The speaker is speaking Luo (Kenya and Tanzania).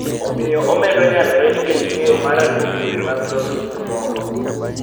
Omiyo obedo nyalore nikech ng�eyo mara kuom yore mag loso gikmoko